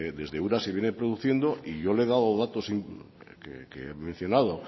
desde ura se viene produciendo y yo le he dado datos que he mencionado